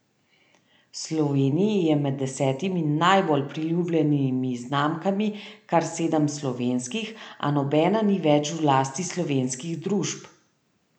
V Sloveniji je med desetimi najbolj priljubljenimi znamkami kar sedem slovenskih, a nobena ni več v lasti slovenskih družb.